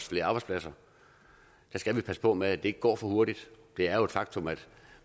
flere arbejdspladser skal vi passe på med at det ikke går for hurtigt det er jo et faktum at